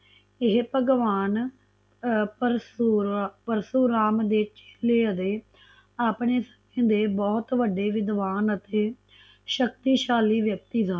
ਇਹ ਭਗਵਾਨ ਪਰਸ਼ੂਰਾਮ ਦੇ ਪਿਛਲੇ ਅਤੇ ਆਪਣੇ ਬਹੁਤ ਵੱਡੇ ਵਿਦਵਾਨ ਅਤੇ ਸ਼ਕਤੀਸ਼ਾਲੀ ਵਿਅਕਤੀ ਸਨ